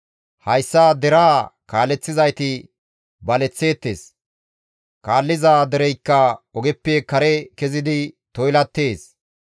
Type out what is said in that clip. Hayssa deraa kaaleththizayti baleththeettes; kaalliza dereykka ogeppe kare kezidi toylattees.